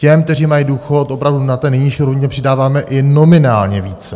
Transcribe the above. Těm, kteří mají důchod opravdu na té nejnižší rovině, přidáváme i nominálně více.